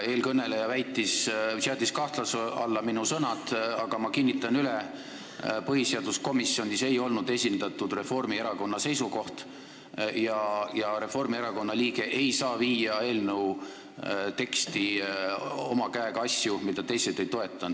Eelkõneleja seadis kahtluse alla minu sõnad, aga ma kinnitan üle, et põhiseaduskomisjonis ei olnud esindatud Reformierakonna seisukoht ja Reformierakonna liige ei saa viia eelnõu teksti oma käega asju, mida teised ei toeta.